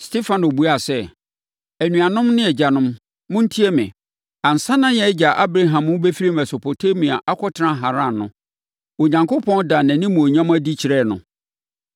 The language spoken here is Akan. Stefano buaa sɛ, “Anuanom ne agyanom, montie me! Ansa na yɛn agya Abraham rebɛfiri Mesopotamia akɔtena Haran no, Onyankopɔn daa nʼanimuonyam adi kyerɛɛ no,